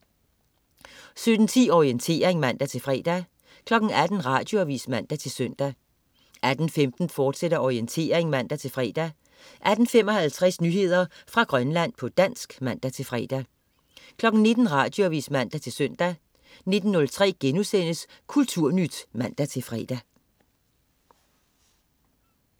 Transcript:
17.10 Orientering (man-fre) 18.00 Radioavis (man-søn) 18.15 Orientering, fortsat (man-fre) 18.55 Nyheder fra Grønland, på dansk (man-fre) 19.00 Radioavis (man-søn) 19.03 Kulturnyt* (man-fre)